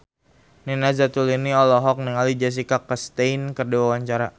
Nina Zatulini olohok ningali Jessica Chastain keur diwawancara